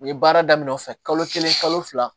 U ye baara daminɛ o fɛ kalo kelen kalo fila